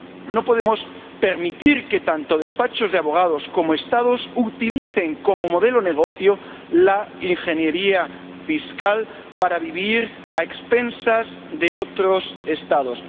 No podemos permitir que tanto despachos de abogados como Estados utilicen como modelo de negocio la ingeniería fiscal para vivir a expensas de otros Estados.